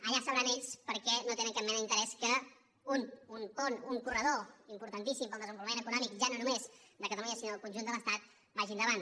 allà deuen saber ells per què no tenen cap mena d’interès que un pont un corredor importantíssim per al desenvolupament econòmic ja no només de catalunya sinó del conjunt de l’estat vagi endavant